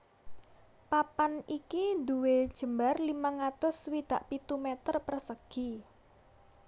Papan iki nduwé jembar limang atus swidak pitu meter persegi